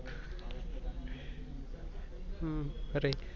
अरे